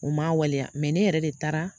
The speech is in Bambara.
U man wale ne yɛrɛ de taara